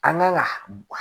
An kan ka